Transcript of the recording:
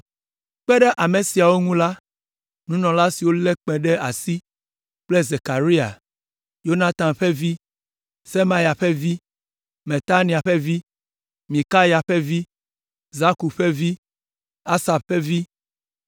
Kpe ɖe ame siawo ŋu la, nunɔla siwo lé kpẽ ɖe asi kple Zekaria, Yonatan ƒe vi, Semaya ƒe vi, Matania ƒe vi, Mikaya ƒe vi, Zakur ƒe vi, Asaf ƒe vi,